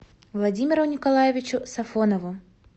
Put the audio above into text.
владимиру николаевичу сафонову